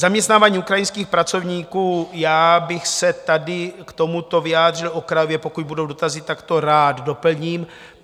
Zaměstnávání ukrajinských pracovníků: já bych se tady k tomuto vyjádřil okrajově, pokud budou dotazy, tak to rád doplním.